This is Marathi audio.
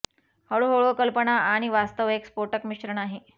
हळूहळू कल्पना आणि वास्तव एक स्फोटक मिश्रण आहे